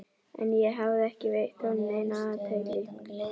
En ég hafði ekki veitt honum neina athygli.